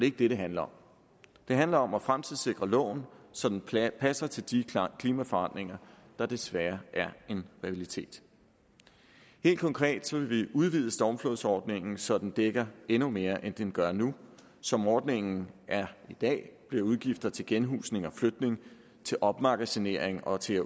ikke det det handler om det handler om at fremtidssikre loven så den passer til de klimaforandringer der desværre er en realitet helt konkret vil vi udvide stormflodsordningen så den dækker endnu mere end den gør nu som ordningen er i dag bliver udgifter til genhusning og flytning til opmagasinering og til